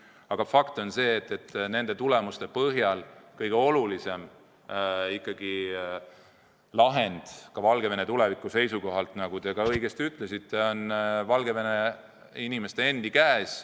Aga fakt on see, et nende tulemuste põhjal kõige olulisem lahend Valgevene tuleviku seisukohalt, nagu te õigesti ütlesite, on Valgevene inimeste endi käes.